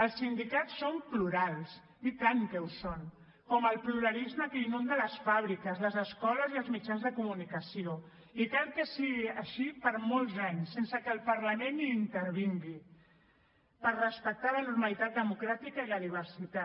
els sindicats són plurals i tant que ho són com el pluralisme que inunda les fàbriques les escoles i els mitjans de comunicació i cal que sigui així per molts anys sense que el parlament hi intervingui per respectar la normalitat democràtica i la diversitat